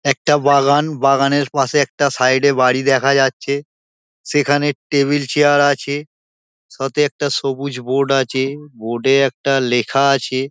একটা বাগান বাগানের পাশে একটা সাইড -এ বাড়ি দেখা যাচ্ছে সেখানে টেবিল চেয়ার আছে সাথে একটা সবুজ বোর্ড আছে বোর্ড -এ একটা লেখা আছে।